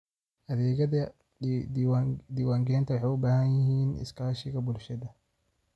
Adeegyada diiwaangelinta waxay u baahan yihiin iskaashiga bulshada.